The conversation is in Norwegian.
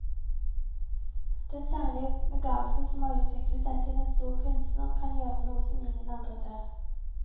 Den særlige begavelsen som har utviklet seg til en stor kunstner, kan gjøre noe som ingen andre tør.